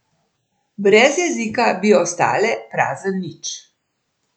Brez jezika bi ostale prazen nič.